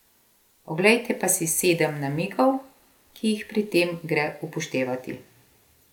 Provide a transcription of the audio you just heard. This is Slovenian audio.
Oglejte pa si sedem namigov, ki jih pri tem gre upoštevati.